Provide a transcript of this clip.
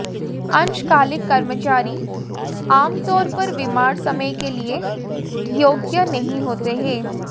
अंशकालिक कर्मचारी आमतौर पर बीमार समय के लिए योग्य नहीं होते हैं